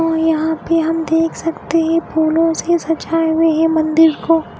और यहाँ पे हम देख सकते हैं फूलो से सजाए हुए हैं मंदिर को --